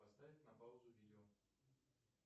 поставить на паузу видео